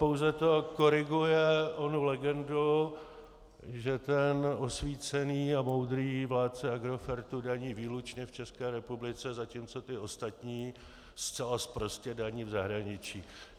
Pouze to koriguje onu legendu, že ten osvícený a moudrý vládce Agrofertu daní výlučně v České republice, zatímco ti ostatní zcela sprostě daní v zahraničí.